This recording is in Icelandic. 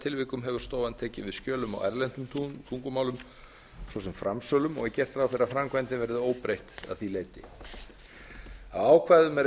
undantekningartilfellum hefur stofan tekið við skjölum á erlendum tungumálum svo sem framsölum og er gert ráð fyrir að framkvæmdin verði óbreytt að því leyti á ákvæðum er